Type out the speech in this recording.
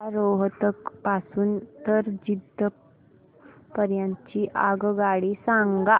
मला रोहतक पासून तर जिंद पर्यंत ची आगगाडी सांगा